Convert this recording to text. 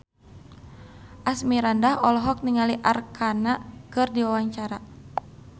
Asmirandah olohok ningali Arkarna keur diwawancara